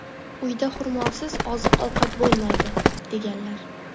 uyda xurmosiz oziq-ovqat bo‘lmaydi, deganlar.